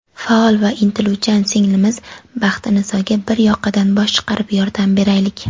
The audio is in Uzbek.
Faol va intiluvchan singlimiz Baxtinisoga bir yoqadan bosh chiqarib yordam beraylik.